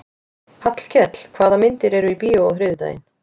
Hallkell, hvaða myndir eru í bíó á þriðjudaginn?